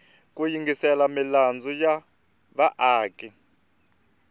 ku yingisela milandzu ya vaaki